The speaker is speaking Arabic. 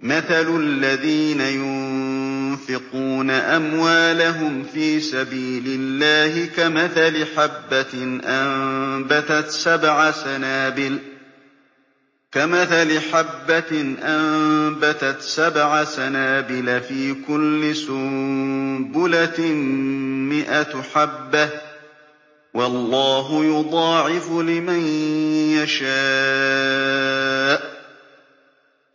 مَّثَلُ الَّذِينَ يُنفِقُونَ أَمْوَالَهُمْ فِي سَبِيلِ اللَّهِ كَمَثَلِ حَبَّةٍ أَنبَتَتْ سَبْعَ سَنَابِلَ فِي كُلِّ سُنبُلَةٍ مِّائَةُ حَبَّةٍ ۗ وَاللَّهُ يُضَاعِفُ لِمَن يَشَاءُ ۗ